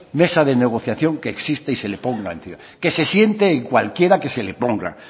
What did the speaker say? mesa de negociación que exista y se le ponga en pie que se siente en cualquiera que se le ponga